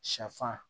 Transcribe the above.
Sɛfan